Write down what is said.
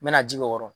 N mɛna ji k'o kɔrɔ